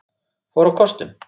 fór á kostum.